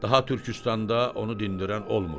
Daha Türküstanda onu dindirən olmur.